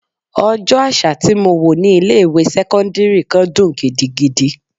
Ọjọ́ àṣà tí mo wò ní ilé ìwé sẹ́cọ́ndírì kan dùn gidigidi.